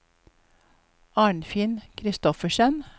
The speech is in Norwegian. Arnfinn Christoffersen